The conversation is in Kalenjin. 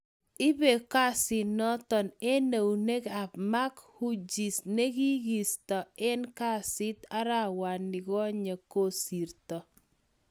Ipe kasinoton en euneg ap Mark Hughes nekigiisto en kasit arawanigonye kosirto